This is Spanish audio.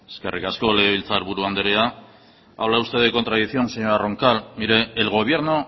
eskerrik asko legebiltzarburu andrea habla usted de contradicción señora roncal mire el gobierno